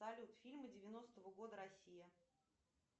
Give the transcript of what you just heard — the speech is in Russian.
салют фильмы девяностого года россия